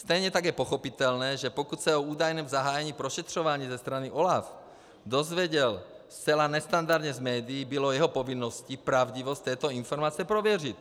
Stejně tak je pochopitelné, že pokud se o údajném zahájení prošetřován ze strany OLAF dozvěděl zcela nestandardně z médií, bylo jeho povinností pravdivost této informace prověřit.